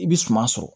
I bɛ suma sɔrɔ